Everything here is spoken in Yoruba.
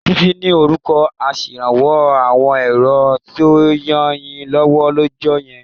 Títí ni orúkọ aṣèrànwọ́ àwọn èrò tó rànyínlọ́wọ́ lọ́jọ́ yẹn